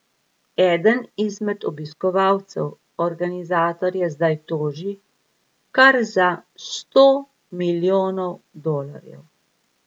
Eden izmed obiskovalcev organizatorje zdaj toži kar za sto milijonov dolarjev.